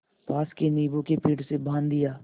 पास के नीबू के पेड़ से बाँध दिया